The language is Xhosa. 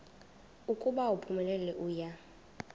ukuba uphumelele uya